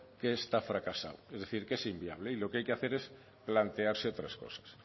que esto ha fracasado es decir que es inviable y lo que hay que hacer es plantearse otras cosas